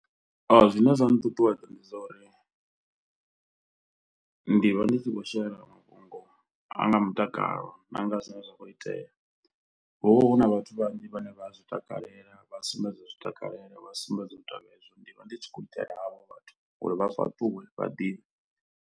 Zwine zwa nṱuṱuwedza ndi zwa uri ndi vha ndi si khou shela mafhungo ana mutakalo na nga zwine zwa khou itea hu vha hu na vhathu vhanzhi vhane vha a zwi takalela, vha sumbedza u zwi takalela, vha sumbedza u ita na hezwo ndi vha ndi tshi khou itela havho vhathu uri vha fhaṱuwe vha ḓivhe.